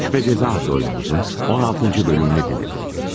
Suç və Cəza adlı oyunumuzun 16-cı bölümünü dinlədiniz.